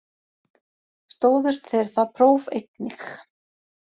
Stóðust þeir það próf einnig